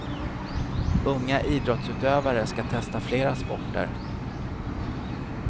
Unga idrottsutövare skall testa flera sporter.